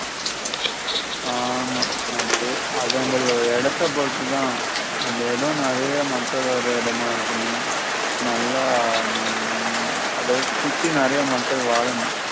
ஆமா அது அது அங்கள இடத்தை பொறுத்து தான் அந்த இடம் நெறைய மக்கள் வர இடமா இருக்கணும் நல்லா உம் அதெல்லாம் சுத்தி நெறைய மக்கள் வாழனும்